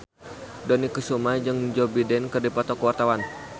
Dony Kesuma jeung Joe Biden keur dipoto ku wartawan